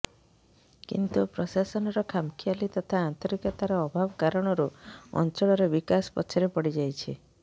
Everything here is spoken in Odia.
କିନ୍ତୁ ପ୍ରଶାସନର ଖାମଖିଆଲି ତଥା ଆନ୍ତରିକତାର ଅଭାବ କାରଣରୁ ଅଞ୍ଚଳର ବିକାଶ ପଛରେ ପଡିଯାଇଛି